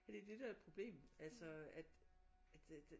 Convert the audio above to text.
Det er det der er problemet altså at